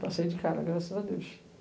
Passei de cara, graças a Deus.